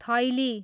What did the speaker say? थैली